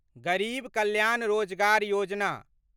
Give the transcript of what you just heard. गरीब कल्याण रोजगार योजना